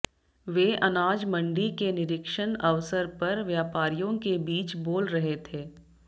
वे अनाजमंडी के निरीक्षण अवसर पर व्यापारियों के बीच बोल रहे थे